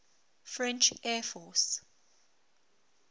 french air force